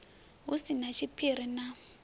hu si na tshiphiri na